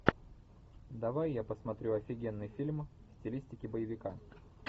давай я посмотрю офигенный фильм в стилистике боевика